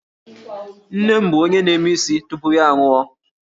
Nne m bụ onye na-eme isi tupu ya anwụọ